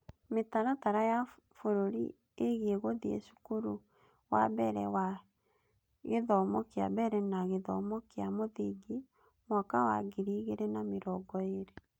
Mĩtaratara ya Bũrũri Ĩgiĩ Gũthiĩ Cukuru na Mbere na gGthomo kĩa Mbere na Gĩthomo kĩa Mũthingi (mwaka wa ngiri igĩrĩ na mĩrongo ĩĩrĩ)